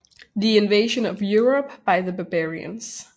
The Invasion of Europe by the Barbarians